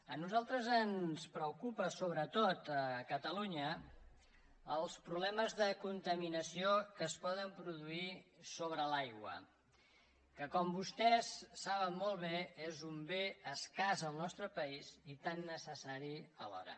a nosaltres ens preocupen sobretot a catalunya els problemes de contaminació que es poden produir sobre l’aigua que com vostès saben molt bé és un bé escàs en el nostre país i tan necessari alhora